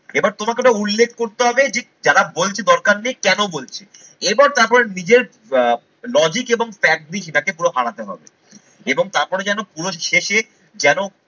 এবার তোমাকে তো উল্লেখ করতে হবে যে যারা বলছি দরকার নেই কেন বলছে। এরপর তারপর নিজের আহ logic এবং factory সেটাকে পুরো হারাতে হবে এবং তারপরে যেন পুরো শেষে যেন